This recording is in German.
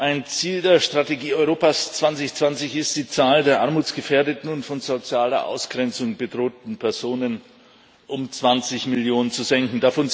Ein Ziel der Strategie Europa 2020 ist, die Zahl der armutsgefährdeten und von sozialer Ausgrenzung bedrohten Personen um 20 Millionen zu senken.